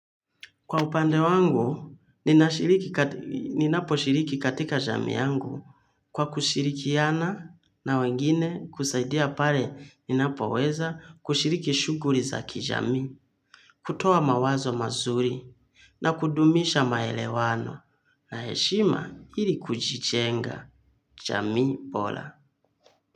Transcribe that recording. Kwa upande wangu, ninapo shiriki katika jamii yangu kwa kushirikiana na wengine kusaidia pale ninapo weza kushiriki shughuli za kijamii, kutoaa mawazo mazuri na kudumisha maelewano na heshima ili kujijenga jamii bora.